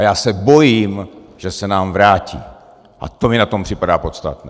A já se bojím, že se nám vrátí, a to mi na tom připadá podstatné.